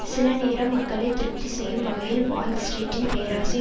சில நேரம் மக்களை திருப்தி செய்யும் வகையில் வால் ஸ்ட்ரீட்டின் பேராசை